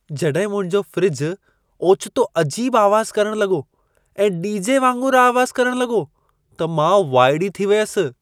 जड॒हिं मुंहिंजो फ़्रिजु ओचितो अजीब आवाज़ु करण लॻो ऐं डी.जे. वागुंरु आवाज़ करण लॻो, त मां वाइड़ी थी वियसि।